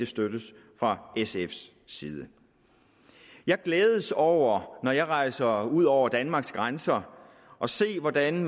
støttes fra sfs side jeg glædes over når jeg rejser ud over danmarks grænser at se hvordan